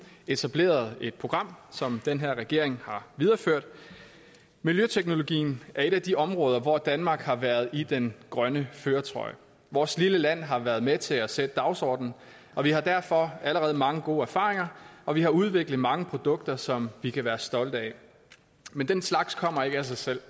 etablerede et program som den her regering har videreført miljøteknologien er et af de områder hvor danmark har været i den grønne førertrøje vores lille land har været med til at sætte dagsordenen og vi har derfor allerede mange gode erfaringer og vi har udviklet mange produkter som vi kan være stolte af men den slags kommer ikke af sig selv